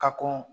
Ka kɔn